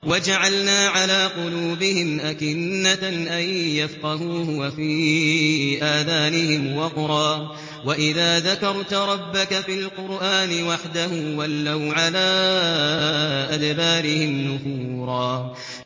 وَجَعَلْنَا عَلَىٰ قُلُوبِهِمْ أَكِنَّةً أَن يَفْقَهُوهُ وَفِي آذَانِهِمْ وَقْرًا ۚ وَإِذَا ذَكَرْتَ رَبَّكَ فِي الْقُرْآنِ وَحْدَهُ وَلَّوْا عَلَىٰ أَدْبَارِهِمْ نُفُورًا